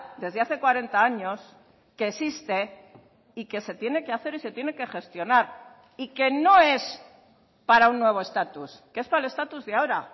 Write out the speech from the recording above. desde hace cuarenta años que existe y que se tiene que hacer y se tiene que gestionar y que no es para un nuevo estatus que es para el estatus de ahora